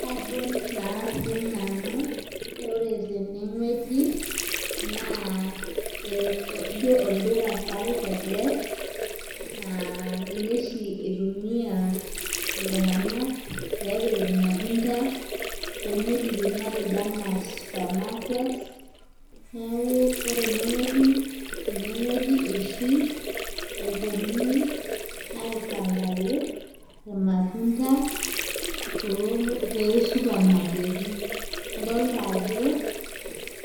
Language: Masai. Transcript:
Kajo naa sii nanu ore tene ngueji naa ijo olduka sapuk ele naa ninye oshi itumia iltunganak peepiki ilmatunda too wuejitin matejo anaa supermarket neeku ore ene ngueji .ene ngueji oshi epuonunui aipangaki ilmatunda, too supamaketi. idoolta ajo